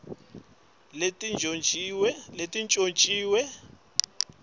kutsenga timphahla letintjontjiwe